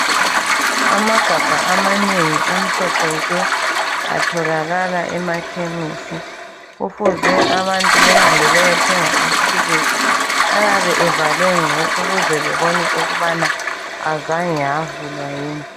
Amagabha amanengi amhlophe nke atholakala emakhemesi kufuze abantu behambe beyethenga amaphilisi ayabe evalwe mnci ukuze bebone ukubana azange avulwa yini.